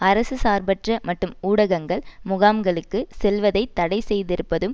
அரசு சார்பற்ற மற்றும் ஊடகங்கள் முகாங்களுக்கு செல்வதை தடை செய்திருப்பதும்